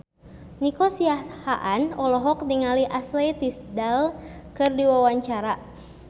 Nico Siahaan olohok ningali Ashley Tisdale keur diwawancara